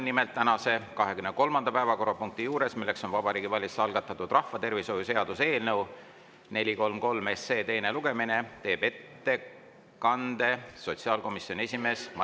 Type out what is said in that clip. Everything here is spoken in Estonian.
Nimelt, tänase 23. päevakorrapunkti, Vabariigi Valitsuse algatatud rahvatervishoiu seaduse eelnõu 433 teisel lugemisel, teeb ettekande sotsiaalkomisjoni esimees Madis Timpson.